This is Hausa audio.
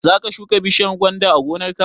Za ka shuka bishiyar gwanda a gonar ka?